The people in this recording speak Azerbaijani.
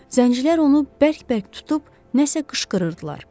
Zəncilər onu bərk-bərk tutub nəsə qışqırırdılar.